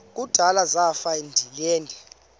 kudala zafa ndilinde